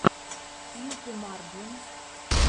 сьюпе марджин